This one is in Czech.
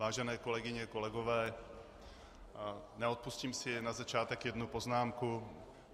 Vážené kolegyně, kolegové, neodpustím si na začátek jednu poznámku.